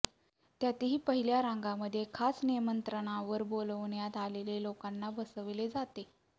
त्यातही पहिल्या रांगांमध्ये खास निमंत्रणावर बोलावण्यात आलेल्या लोकांना बसवलं जातं